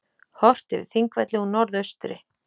Horft yfir Þingvelli úr norðaustri.